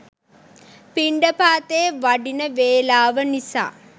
පිණ්ඩපාතේ වඩින වේලාව නිසා